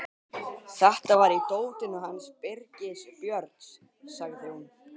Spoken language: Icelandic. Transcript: Þetta var í dótinu hans Birgis Björns, sagði hún.